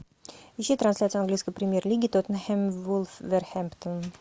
ищи трансляцию английской премьер лиги тоттенхэм вулверхэмптон